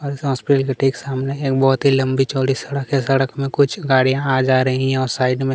और इस हॉस्पिटल के ठीक सामने एक बहुत ही लंबी चौड़ी सड़क है सड़क पर कुछ गाड़िया आ जा रही है और साइड में--